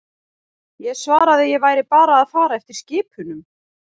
Ég svaraði ég væri bara að fara eftir skipunum.